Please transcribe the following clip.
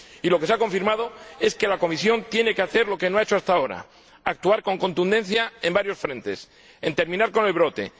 Y lo que se ha confirmado es que la Comisión tiene que hacer lo que no ha hecho hasta ahora, actuar con contundencia en varios frentes terminar con el brote